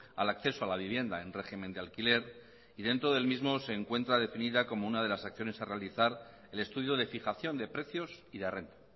al acceso a la vivienda en régimen de alquiler y dentro del mismo se encuentra definida como una de las acciones a realizar el estudio de fijación de precios y de renta